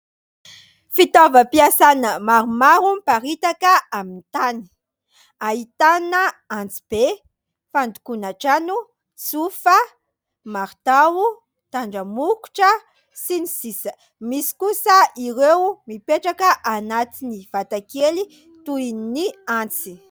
Fitaovam-piasana maromaro miparitaka amin'ny tany. Ahitana antsy be, fandokoana trano, tsofa, maritao, tandramokotra sy ny sisa... Misy kosa ireo mipetraka anatin'ny vata kely toin'ny antsy.